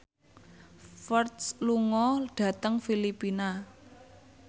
Ferdge lunga dhateng Filipina